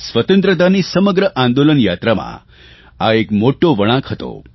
સ્વતંત્રતાની સમગ્ર આંદોલન યાત્રામાં આ એક મોટો વળાંક હતો